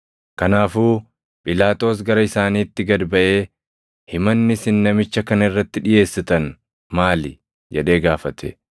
Kanaafuu Phiilaaxoos gara isaaniitti gad baʼee, “Himanni isin namicha kana irratti dhiʼeessitan maali?” jedhee gaafate.